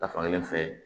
Ta fankelen fɛ